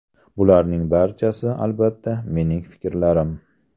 Bularning barchasi, albatta, mening fikrlarim.